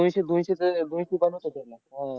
दोनशे दोनशेचं दोनशे रुपयांनाच होतात मग. अह